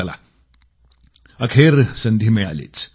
चला अखेर संधी मिळालीच